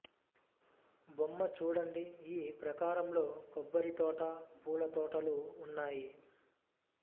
బొమ్మ చూడండి ఈ ప్రాకారంలో కొబ్బరి తోట పూల తోటలు ఉన్నాయి